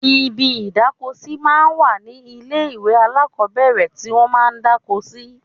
Ibi ìdáko sí máa ń wà ní ilé ìwé alákọ́bẹ̀rẹ̀ tí wọ́n máa ń dáko sí